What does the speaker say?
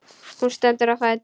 Hún stendur á fætur.